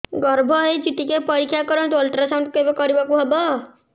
ଗର୍ଭ ହେଇଚି ଟିକେ ପରିକ୍ଷା କରନ୍ତୁ ଅଲଟ୍ରାସାଉଣ୍ଡ କେବେ କରିବାକୁ ହବ